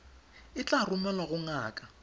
e tla romelwa go ngaka